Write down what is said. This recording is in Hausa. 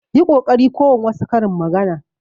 Yi kokari kowan wasu karin maganar.